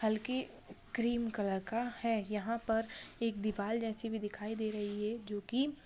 हल्की cream colour का है यहाँ पर एक दीवाल जैसे भी दिखाई दे रही है। जो की--